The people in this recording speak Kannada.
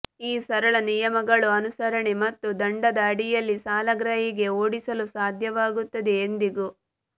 ಈ ಸರಳ ನಿಯಮಗಳ ಅನುಸರಣೆ ಮತ್ತು ದಂಡದ ಅಡಿಯಲ್ಲಿ ಸಾಲಗ್ರಾಹಿಗೆ ಓಡಿಸಲು ಸಾಧ್ಯವಾಗುತ್ತದೆ ಎಂದಿಗೂ